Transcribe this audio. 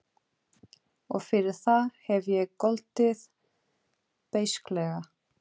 Og fyrir það hef ég goldið beisklega.